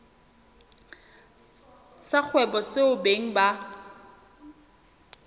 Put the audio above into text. sa kgwebo seo beng ba